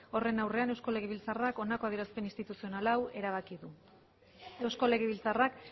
horren aurrean eusko legebiltzarrak honako adierazpen instituzional hau erabaki du eusko legebiltzarrak